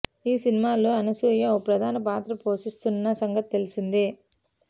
ఈ సినిమాలో అనసూయ ఓ ప్రధాన పాత్ర పోసిస్తోన్న సంగతి తెలిసిందే